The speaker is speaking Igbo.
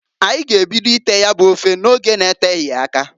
Anyi g'ebido ite ya bu ofe n'oge n'eteghi aka.